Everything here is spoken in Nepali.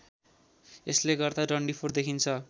यसले गर्दा डन्डीफोर देखिन्छ